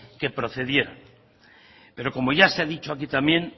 que procedieran pero como ya se ha dicho aquí también